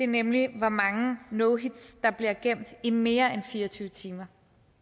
nemlig hvor mange no hits der bliver gemt i mere end fire og tyve timer